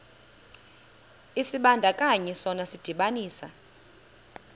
isibandakanyi sona sidibanisa